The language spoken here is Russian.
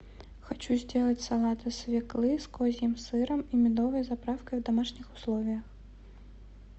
хочу сделать салат из свеклы с козьим сыром и медовой заправкой в домашних условиях